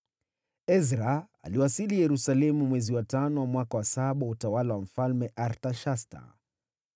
Ezra aliwasili Yerusalemu mwezi wa tano wa mwaka wa saba wa utawala wa Mfalme Artashasta.